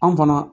An fana